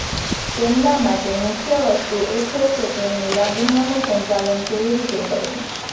તેમના માટે મુખ્ય વસ્તુ એ છે કે તેમની લાગણીઓનું સંચાલન કેવી રીતે કરવું